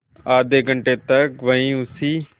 आधे घंटे तक वहीं उसी